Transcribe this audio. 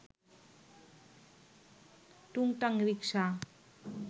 টুংটাং rickshaw